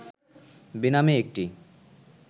বেনামে একটি